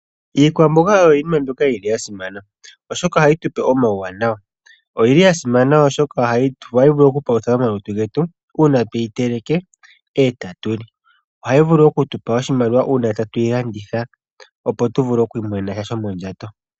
Iikwamboga oyo iinima mbyoka yili yasimana oshoka ohayi tupe omawuwanawa. Oyili yasimana oshoka ohayi vulu okupalutha omalutu getu uuna tweyi teleke ee tatu li. Ohayi vulu okutupa oshimaliwa uuna tatuyi landitha opo tu vule oku imonene sha shomondjato.